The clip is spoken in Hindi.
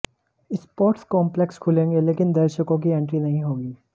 स्पोर्ट्स कॉम्पलेक्स खुलेंगे लेकिन दर्शकों की एंट्री नहीं होगी